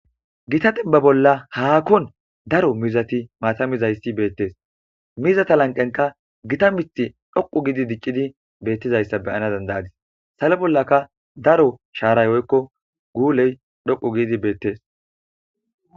gita dembba bolla haakkon daro mizati maata mizayssi beettes mizata lanqenka gita mith dhoqu gidi diccidi beettizayssa beyana dandayadis salo bollaka daro shaaray woykko guuley dhoqu giidi beettes